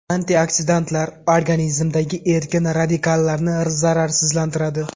Antioksidantlar organizmdagi erkin radikallarni zararsizlantiradi.